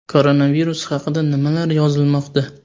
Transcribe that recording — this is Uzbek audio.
Koronavirus haqida nimalar yozilmoqda ?